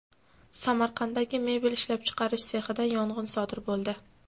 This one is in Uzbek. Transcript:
Samarqanddagi mebel ishlab chiqarish sexida yong‘in sodir bo‘ldi.